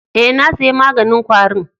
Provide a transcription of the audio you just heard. Eh, na saya maganin kwari'n.